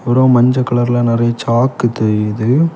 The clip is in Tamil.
பொறவு மஞ்ச கலர்ல நெறைய சாக்கு தெரியுது.